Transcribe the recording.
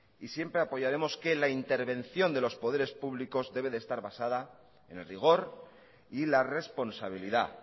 y siempre apoyaremos que la intervención de los poderes públicos debe estar basada en el rigor y la responsabilidad